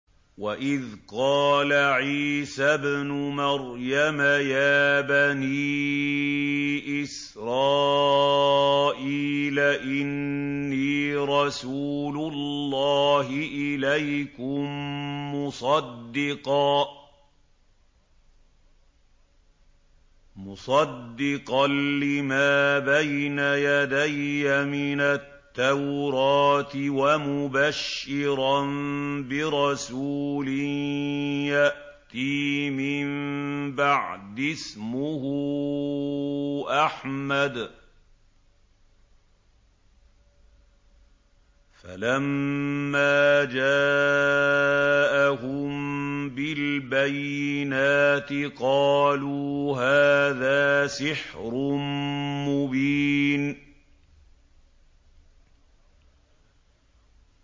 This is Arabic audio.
وَإِذْ قَالَ عِيسَى ابْنُ مَرْيَمَ يَا بَنِي إِسْرَائِيلَ إِنِّي رَسُولُ اللَّهِ إِلَيْكُم مُّصَدِّقًا لِّمَا بَيْنَ يَدَيَّ مِنَ التَّوْرَاةِ وَمُبَشِّرًا بِرَسُولٍ يَأْتِي مِن بَعْدِي اسْمُهُ أَحْمَدُ ۖ فَلَمَّا جَاءَهُم بِالْبَيِّنَاتِ قَالُوا هَٰذَا سِحْرٌ مُّبِينٌ